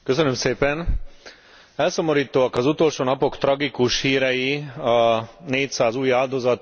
Elszomorítóak az utolsó napok tragikus hírei a négyszáz új áldozatról a Földközi tengeren.